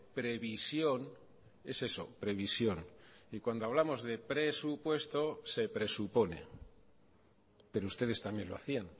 previsión es eso previsión y cuando hablamos de presupuesto se presupone pero ustedes también lo hacían